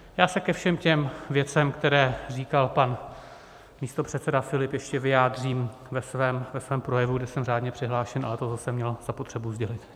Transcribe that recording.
Já se ke všem těm věcem, které říkal pan místopředseda Filip, ještě vyjádřím ve svém projevu, kde jsem řádně přihlášen, ale tohle jsem měl zapotřebí sdělit.